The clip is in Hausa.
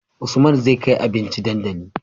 Usman zai kai abinci dandali